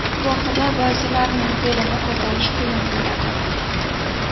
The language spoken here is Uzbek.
Gohida ba’zilarining fe’lini ko‘tarish qiyin bo‘ladi.